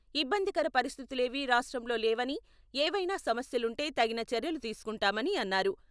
ఇబ్బందికర పరిస్థితులే వీ రాష్ట్రంలో లేవని, ఏవైనా సమస్యలుంటే తగిన చర్యలు తీసుకుంటామని అన్నారు.